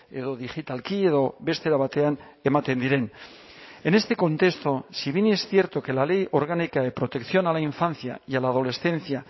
edo digitalki edo beste era batean ematen diren en este contexto si bien es cierto que la ley orgánica de protección a la infancia y a la adolescencia